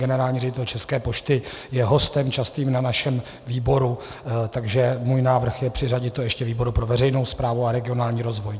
Generální ředitel České pošty je častým hostem na našem výboru, takže můj návrh je přiřadit to ještě výboru pro veřejnou správu a regionální rozvoj.